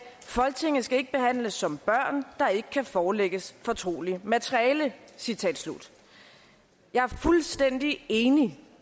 folketinget skal ikke behandles som børn der ikke kan forelægges fortroligt materiale citat slut jeg er fuldstændig enig